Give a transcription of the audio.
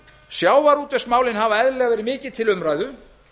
sjávarútvegsmálin hafa eðlilega verið mikið til umræðu